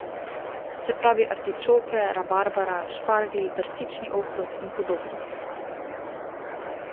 Se pravi artičoke, rabarbara, šparglji, brstični ohrovt in podobno.